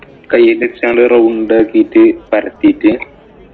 കൈയില് വച്ച് അങ്ങോട്ട്‌ round ആക്കീട്ട് പരത്തീട്ട്